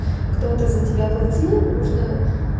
кто-то за тебя платил нужно